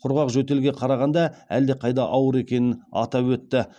құрғақ жөтелге қарағанда әлдеқайда ауыр екенін атап өтті